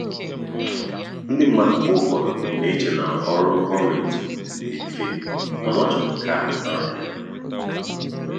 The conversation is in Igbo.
ndị mmadụ mgbe ụfọdụ na-eche na ọrụ gọọmentị dị mfe mana ọ chọrọ nkà na nraranye.